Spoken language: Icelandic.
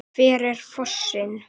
Hver er fossinn?